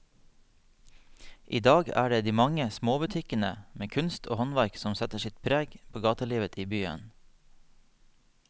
I dag er det de mange små butikkene med kunst og håndverk som setter sitt preg på gatelivet i byen.